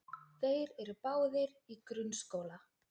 Þeir eru báðir í grunnskóla.